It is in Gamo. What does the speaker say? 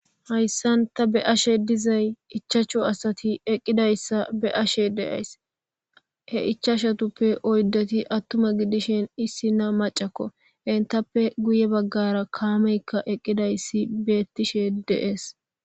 Haysaani tani be'ashe dizay ichashu asay eqqida issa be'ashe dayis.he ichashatupe oyidati atuma giddishin issina macako entappe giye baggaraka kameka eqqida issi betishe de'es